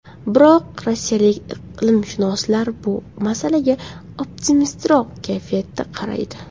Biroq rossiyalik iqlimshunoslar bu masalaga optimistroq kayfiyatda qaraydi.